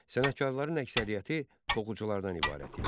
Sənətkarların əksəriyyəti toxuculardan ibarət idi.